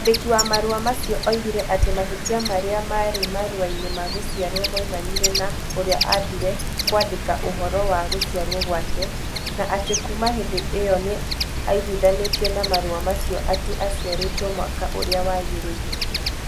Mwandĩki wa marũa macio oigire atĩ mahĩtia marĩa maarĩ marũa-inĩ ma gũciarũo moimanire na ũrĩa aambire kũandĩka ũhoro wa gũciarũo gwake, na atĩ kuuma hĩndĩ ĩyo nĩ aiguithanĩtie na marũa macio atĩ aciarĩtwo mwaka ũrĩa wagĩrĩire.